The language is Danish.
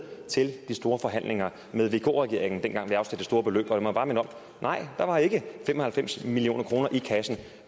til de store forhandlinger med vk regeringen dengang vi afsatte det store beløb lad mig bare minde om at nej der var ikke fem og halvfems million kroner i kassen